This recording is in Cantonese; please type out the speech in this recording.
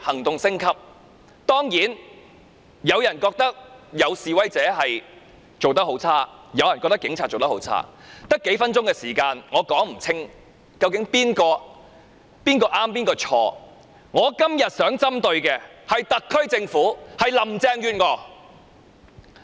當然，有人認為示威者的行為差劣，也有人認為警察的行為差劣，我只有數分鐘發言時間，無法說清誰是誰非，所以我今天只想針對特區政府和林鄭月娥。